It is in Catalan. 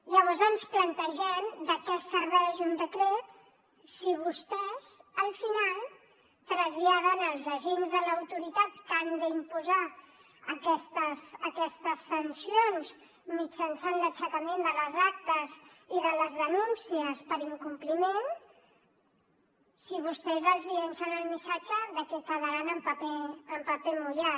llavors ens plantegem de què serveix un decret si vostès al final traslladen als agents de l’autoritat que han d’imposar aquestes sancions mitjançant l’aixecament de les actes i de les denúncies per incompliment si vostès els llancen el missatge de que quedaran en paper mullat